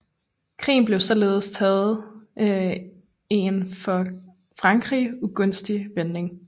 Krigen havde således taget en for Frankrig ugunstig vending